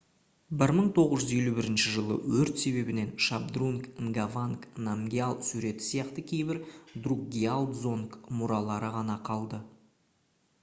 1951 жылғы өрт себебінен шабдрунг нгаванг намгьял суреті сияқты кейбір друкгиал дзонг мұралары ғана қалды